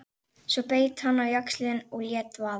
Svo beit hann á jaxlinn og lét vaða.